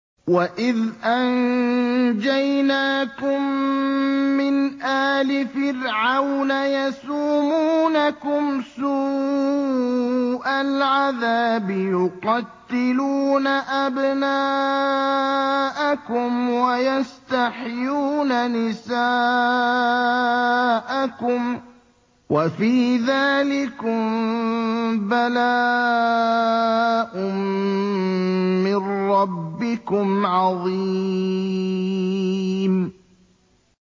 وَإِذْ أَنجَيْنَاكُم مِّنْ آلِ فِرْعَوْنَ يَسُومُونَكُمْ سُوءَ الْعَذَابِ ۖ يُقَتِّلُونَ أَبْنَاءَكُمْ وَيَسْتَحْيُونَ نِسَاءَكُمْ ۚ وَفِي ذَٰلِكُم بَلَاءٌ مِّن رَّبِّكُمْ عَظِيمٌ